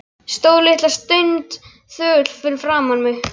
Stóð litla stund þögull fyrir framan mig.